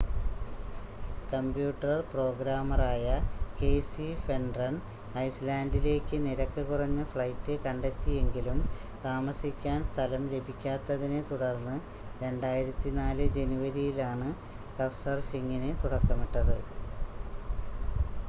computer പ്രോഗ്രാമറായ Casey Fenton ഐസ്‌ലാൻഡിലേക്ക് നിരക്ക് കുറഞ്ഞ ഫ്ലൈറ്റ് കണ്ടെത്തിയെങ്കിലും താമസിക്കാൻ സ്ഥലം ലഭിക്കാത്തതിനെ തുടർന്ന് 2004 ജനുവരിയിലാണ് കഫ്‌സർഫിംഗിന് തുടക്കമിട്ടത്